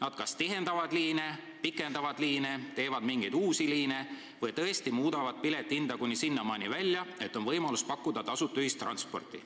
Et kas nad tihendavad liini, kas nad pikendavad liine, kas nad teevad mingeid uusi liine või tõesti muudavad piletihinda kuni sinnamaani välja, et on võimalus pakkuda tasuta ühistransporti.